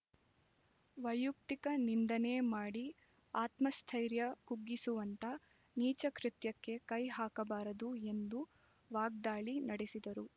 ವೈಯುಕ್ತಿಕ ನಿಂದನೆ ಮಾಡಿ ಆತ್ಮಸ್ಥೈರ್ಯ ಕುಗ್ಗಿಸುವಂತ ನೀಚ ಕೃತ್ಯಕ್ಕೆ ಕೈ ಹಾಕಬಾರದು ಎಂದು ವಾಗ್ದಾಳಿ ನಡೆಸಿದರು